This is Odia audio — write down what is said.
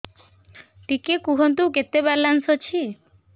ଟିକେ କୁହନ୍ତୁ କେତେ ବାଲାନ୍ସ ଅଛି